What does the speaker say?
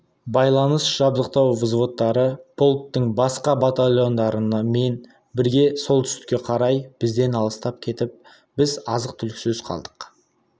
байланыс жабдықтау взводтары полктің басқа батальондарымен бірге солтүстікке қарай бізден алыстап кетіп біз азық-түліксіз қалдық